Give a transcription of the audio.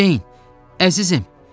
Ceyn, əzizim.